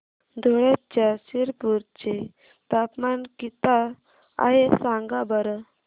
धुळ्याच्या शिरपूर चे तापमान किता आहे सांगा बरं